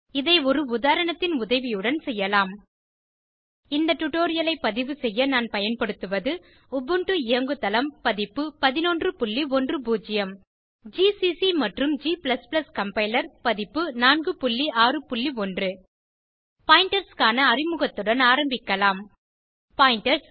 இதை ஒரு உதாரணத்தின் உதவியுடன் செய்யலாம் இந்த டுடோரியலை பதிவு செய்ய நான் பயன்படுத்துவது உபுண்டு இயங்கு தளம் பதிப்பு 1110 ஜிசிசி மற்றும் g கம்பைலர் பதிப்பு 461 பாயிண்டர்ஸ் க்கான அறிமுகத்துடன் ஆரம்பிக்கலாம் பாயிண்டர்ஸ்